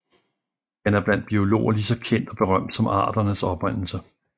Den er blandt biologer lige så kendt og berømt som Arternes Oprindelse